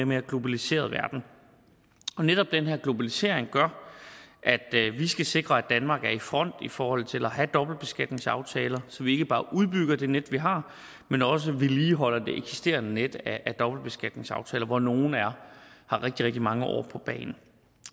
mere globaliseret verden netop den her globalisering gør at vi skal sikre at danmark er i front i forhold til at have dobbeltbeskatningsaftaler så vi ikke bare udbygger det net vi har men også vedligeholder det eksisterende net af dobbeltbeskatningsaftaler hvor nogle har rigtig mange år på bagen